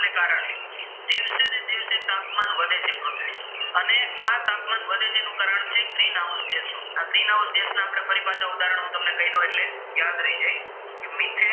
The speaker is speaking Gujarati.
ગ્રીનહાઉસ દેશો આ ગ્રીનહાઉસ ના દેશ ના ફરી પાછા તમને ઉદાહરણ કય દવ એટલે યાદ રહી જાય કે મિથેન